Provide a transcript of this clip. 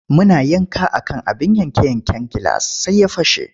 Muna yanka a kan abin yanke-yanken gilas sai ya fashe.